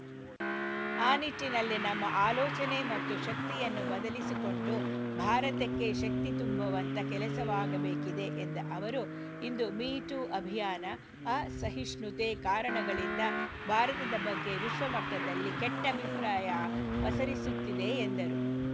ಆ ನಿಟ್ಟಿನಲ್ಲಿ ನಮ್ಮ ಆಲೋಚನೆ ಮತ್ತು ಶಕ್ತಿಯನ್ನು ಬದಲಿಸಿಕೊಂಡು ಭಾರತಕ್ಕೆ ಶಕ್ತಿ ತುಂಬುವಂತ ಕೆಲಸವಾಗಬೇಕಿದೆ ಎಂದ ಅವರು ಇಂದು ಮೀಟೂ ಅಭಿಯಾನ ಅಸಹಿಷ್ಣುತೆ ಕಾರಣಗಳಿಂದ ಭಾರತದ ಬಗ್ಗೆ ವಿಶ್ವ ಮಟ್ಟದಲ್ಲಿ ಕೆಟ್ಟಅಭಿಪ್ರಾಯ ಪಸರಿಸುತ್ತಿದೆ ಎಂದರು